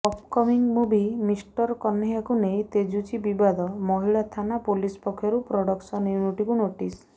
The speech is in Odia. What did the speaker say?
ଅପକମିଂ ମୁଭି ମିଷ୍ଟର କହ୍ନେୟାକୁ ନେଇ ତେଜୁଛି ବିବାଦ ମହିଳା ଥାନା ପୋଲିସ ପକ୍ଷରୁ ପ୍ରଡକ୍ସନ ୟୁନିଟକୁ ନୋଟିସ୍